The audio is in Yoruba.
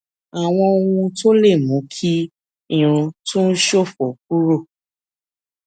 àwọn ohun tó lè mú kí irun tó ń ṣòfò kúrò